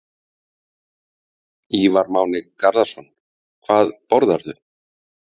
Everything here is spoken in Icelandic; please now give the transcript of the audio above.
Ívar Máni Garðarsson Hvað borðarðu?